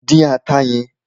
Dín ata yẹn!